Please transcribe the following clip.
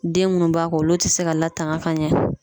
Den munnu b'a kɔ olu te se ka latanga ka ɲɛ